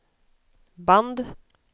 band